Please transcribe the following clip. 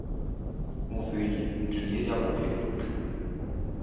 mofenyi ntweng ye ya bophelo